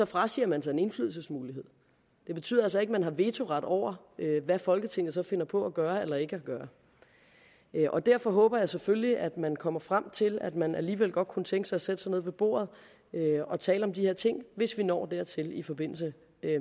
frasiger man sig en indflydelsesmulighed det betyder altså ikke at man har vetoret over hvad folketinget så finder på at gøre eller ikke at gøre og derfor håber jeg selvfølgelig at man kommer frem til at man alligevel godt kunne tænke sig at sætte sig ned ved bordet og tale om de her ting hvis vi når dertil i forbindelse